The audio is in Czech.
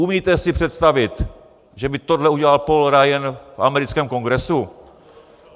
Umíte si představit, že by tohle udělal Paul Ryan v americkém Kongresu?